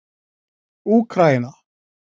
Úkraína